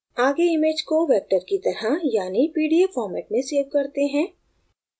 आगे image को vector की तरह यानि pdf format में सेव करते हैं